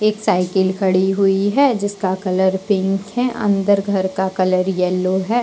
एक साइकिल खड़ी हुई है जिसका कलर पिंक है अंदर घर का कलर येलो है।